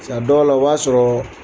Sa dɔw la o b'a sɔrɔ